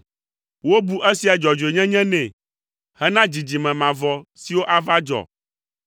Wobu esia dzɔdzɔenyenye nɛ hena dzidzime mavɔ siwo ava dzɔ.